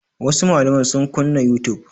Wasu malamai sun kunna youtube.